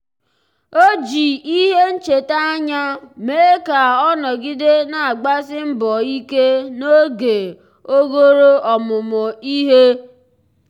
ọ́ jì ìhè nchètà ányá mee ka ọ́ nọ́gídè nà-àgbàsí mbọ̀ ike n’ógè ogòrò ọmụ́mụ́ ìhè.